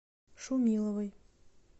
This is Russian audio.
шумиловой